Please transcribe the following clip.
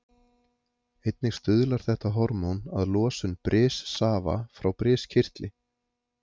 Einnig stuðlar þetta hormón að losun brissafa frá briskirtli.